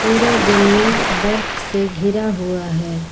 पूरा जमीन बर्फ से घिरा हुआ है।